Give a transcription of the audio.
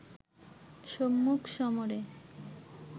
সম্মুখ সমরে